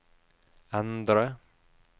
endre